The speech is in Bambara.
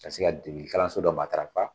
Ka se ka de kalanlanso dɔ maa